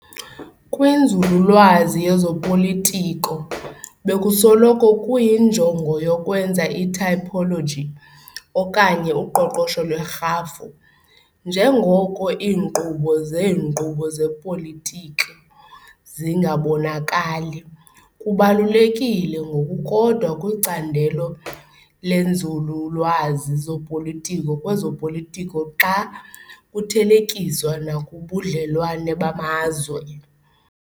Kwinzululwazi yezopolitiko, bekusoloko kuyinjongo yokwenza itypology okanye uqoqosho lwerhafu, njengoko iinkqubo zenkqubo yezopolitiko zingabonakali. Kubaluleke ngokukodwa kwicandelo lezenzululwazi zopolitiko kwezopolitiko xa kuthelekiswa nakubudlelwane bamazwe .